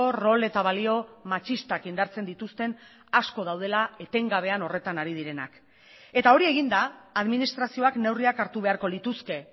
rol eta balio matxistak indartzen dituzten asko daudela etengabean horretan hari direnak eta hori eginda administrazioak neurriak hartu beharko lituzke